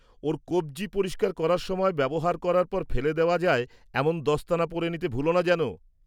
ওর কবজি পরিষ্কার করার সময় ব্যবহার করার পর ফেলে দেওয়া যায় এমন দস্তানা পরে নিতে ভুলো না যেন।